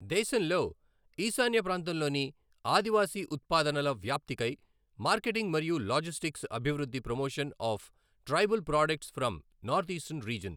దేశంలో ఈశాన్య ప్రాంతంలోని ఆదివాసి ఉత్పాదనల వ్యాప్తి కై మార్కెటింగ్ మరియు లాజిస్టిక్స్ అభివృద్ధి promotion of tribal products from north eastern region.